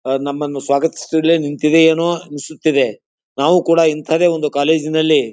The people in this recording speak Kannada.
ಆಹ್ಹ್ ನಮ್ಮನ್ನು ಸ್ವಾಗತ್ಸುದ್ಲೆ ನಿಂತಿದಿಯೋನೋ ಅನಿಸುತಿದ್ದೆ ನಾವು ಕೂಡ ಇಂಥಾದೇ ಒಂದು ಕಾಲೇಜಿ ನಲ್ಲಿ --